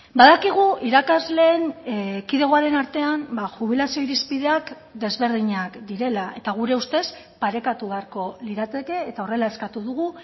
badakigu irakasleen kidegoaren artean jubilazio irizpideak desberdinak direla eta gure ustez parekatu beharko lirateke eta horrela eskatu dugu